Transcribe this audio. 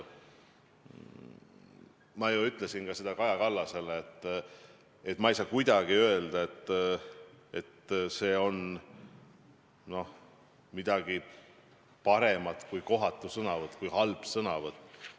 Ma ju ütlesin ka Kaja Kallasele, et ma ei saa kuidagi öelda, et see oleks olnud midagi paremat kui kohatu, halb sõnavõtt.